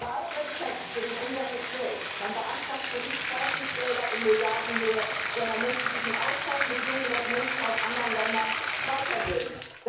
Bei allem Respekt für den Umgang mit Geld Man beantragt hier nicht Forschungsgelder in Milliardenhöhe, sondern möchte sich im Austausch mit jungen Menschen aus anderen Ländern weiterbilden.